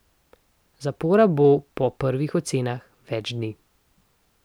Zapora bo, po prvih ocenah, več dni.